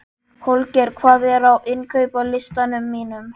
Holger, hvað er á innkaupalistanum mínum?